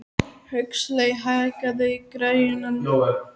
Huxley, hækkaðu í græjunum.